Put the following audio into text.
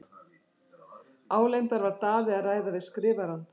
Álengdar var Daði að ræða við Skrifarann.